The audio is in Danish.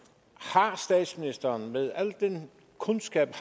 har statsministeren med al den kundskab